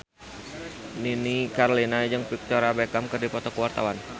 Nini Carlina jeung Victoria Beckham keur dipoto ku wartawan